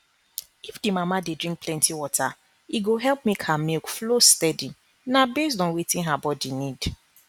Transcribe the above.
if the mama dey drink plenty water e go help make her milk flow steady na based on wetin her body need